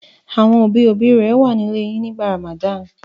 Àwọn òbí-òbí rẹ wà nílé yín nígbà Ramadan?